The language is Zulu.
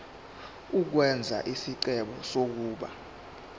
ukwenza isicelo sokuba